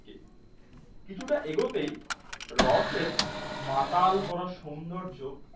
কিছুটা এগোতেই রসের মাতাল করা সৌন্দর্য।